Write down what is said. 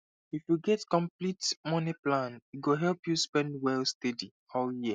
if you get complete money plan e go help you spend well steady all year